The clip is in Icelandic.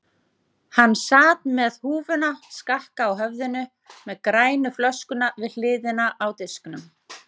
Hann sat með húfuna skakka á höfðinu með grænu flöskuna við hliðina á disknum.